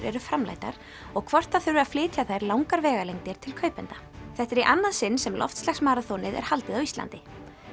eru framleiddar og hvort það þurfi að flytja þær langar vegalengdir til kaupenda þetta er í annað sinn sem er haldið á Íslandi